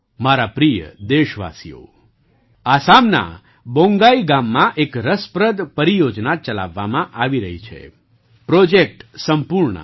મારા પ્રિય દેશવાસીઓ આસામના બોન્ગાઈ ગામમાં એક રસપ્રદ પરિયોજના ચલાવવામાં આવી રહી છે પ્રૉજેક્ટ સંપૂર્ણા